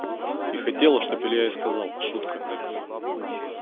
и хотела чтоб илья ей сказал шутка